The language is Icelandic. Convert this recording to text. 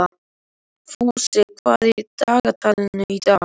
Fúsi, hvað er í dagatalinu í dag?